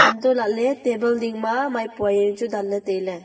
untoh lah ley table ding ma maipua yaonu chu dan ley tailey.